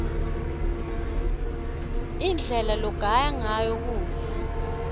indlela logaya ngayo kudla